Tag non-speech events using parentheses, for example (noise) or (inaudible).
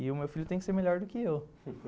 E o meu filho tem que ser melhor do que eu. (laughs)